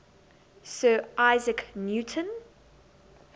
sir isaac newton